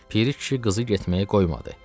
Piri kişi qızı getməyə qoymadı.